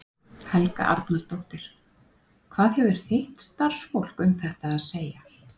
Helga Arnardóttir: Hvað hefur þitt starfsfólk um þetta að segja?